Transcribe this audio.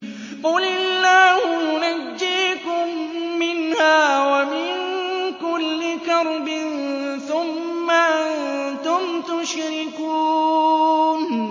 قُلِ اللَّهُ يُنَجِّيكُم مِّنْهَا وَمِن كُلِّ كَرْبٍ ثُمَّ أَنتُمْ تُشْرِكُونَ